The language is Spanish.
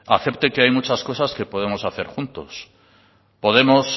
acepte que hay muchas cosas que podemos hacer juntos podemos